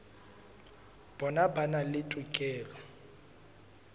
bona ba na le tokelo